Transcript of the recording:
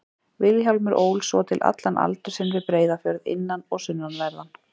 Vilhjálmur ól svo til allan aldur sinn við Breiðafjörð, innan- og sunnanverðan.